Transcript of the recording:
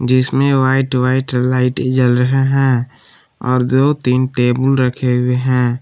जिसमें white white light जल रहे हैं और दो तीन टेबुल रखे हुए हैं ।